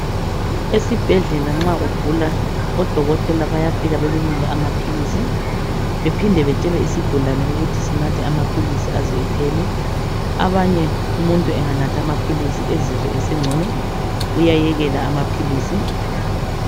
Esibhedlela nxa ugula odokotela bayafika bekunike amaphilizi bephinde betshele isigulane ukuthi sinathe amaphilisi aze ephele. Abanye umuntu anganatha amaphilisi ezizwe esengcono uyayekela amaphilizi.